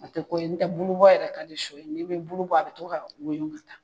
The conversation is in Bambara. A tɛ ko ye n'o tɛ bulu bɔ yɛrɛ ka di sɔ ye, n'i bɛ bulu bɔ a bɛ to ka woyo ka taa